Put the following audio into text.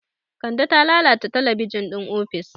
Kande ta lalata talabijin ɗin ofis.